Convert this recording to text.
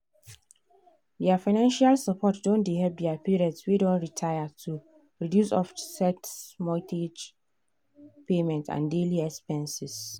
their financial support don help their parents wey don retire to reduce offset mortgage payments and daily expenses.